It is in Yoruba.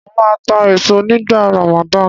Mó máa ta èso nígbà Ramadan.